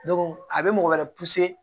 a bɛ mɔgɔ wɛrɛ